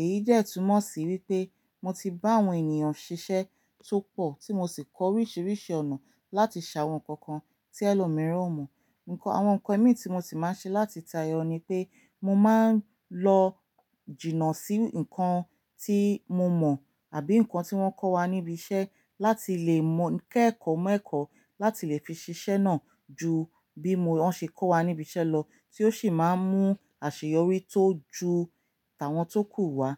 Èyí de túmọ̀ sí wípé mo ti bá àwon ènìyàn sisẹ́ tó pọ̀ tí mo sì kọ orísìírísìí ọ̀nà láti ṣàwọn nkán kan tí ẹlòmíràn ò mọ̀. Nǹkan àwon nkán ẹmi tí mo sì má n ṣe láti táyọ ni pé mo má n lọ jìnnà sí nkán tí mo mọ̀ àbí nkán tí wọ́n kọ́wa níbi iṣẹ́ láti lè mọ̀ kẹ́ẹ̀kọ́ mọ́ ẹ̀kọ́ láti lè fi ṣiṣẹ́ náà ju bí wọ́n ṣe kọ́wa níbi iṣẹ́ lọ tí ó sì má n mú àṣeyọrí tó ju tí àwọn tó kù wá.